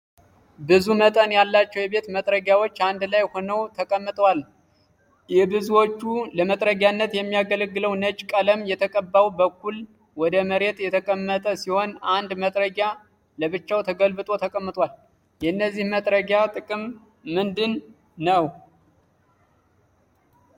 ብዙ መጠን ያላቸው የቤት መጥረጊያዎች አንድ ላይ ሆነው ተቀምጠዋል። የብዙዎቹ ለመጥረጊያነት የሚያገለግለው ነጭ ቀለም የተቀባው በኩል ወደ መሬት የተቀመጠ ሲሆን አንድ መጥረጊያ ለብቻው ተገልብጦ ተቀምጧል። የነዚህ መጥረጊያ ጥቅም ምንድን ነው?